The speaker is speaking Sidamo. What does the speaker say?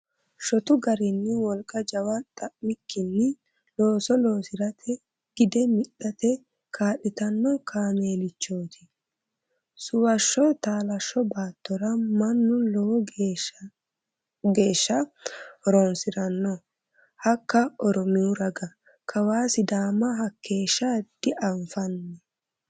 Shotu garinni wolqa jawa xa'mikkinni looso loosirate gide mixate kaa'littano kaameelichoti suwasho taalasho baattora mannu lowo geeshsha horonsirano hakka oromiyu raga, kawa sidaama hakeeshsha dianfanni.